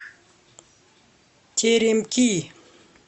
теремки